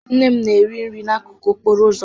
Nne m na-ere nri n'akụkụ okporo ụzọ